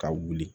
Ka wuli